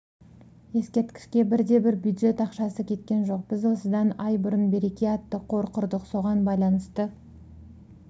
ескерткішке бірде-бір бюджет ақшасы кеткен жоқ біз осыдан ай бұрын береке атты қор құрдық соған байланысты